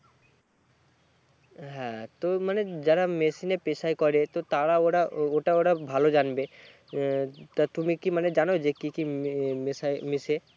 হ্যাঁ তো মানে যারা machine এ পেশাই করে তো তারা ওরা ওটা ওরা ভালো জানবে হম তুমি কি মানে জানো মানে কি কি মেশাই মেশে